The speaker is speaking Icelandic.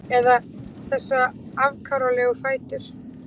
Eða þessa afkáralegu fætur?